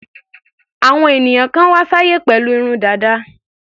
Àwọn ènìyàn kan wá sáyé pẹ̀lú irun dàda.